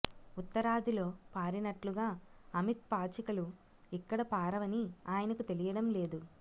ఉత్తరాదిలో పారినట్లుగా అమిత్ పాచికలు ఇక్కడ పారవని ఆయనకు తెలియడం లేదు